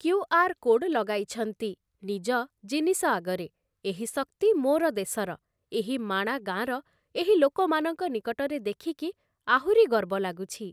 QR. Code ଲଗାଇଛନ୍ତି, ନିଜ ଜିନିଷ ଆଗରେ, ଏହି ଶକ୍ତି ମୋର ଦେଶର, ଏହି ମାଣା ଗାଁର ଏହି ଲୋକମାନଙ୍କ ନିକଟରେ ଦେଖିକି ଆହୁରି ଗର୍ବ ଲାଗୁଛି ।